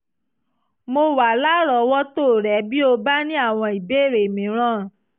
mo wà lárọ̀ọ́wọ́tó rẹ bí o bá ní àwọn ìbéèrè mìíràn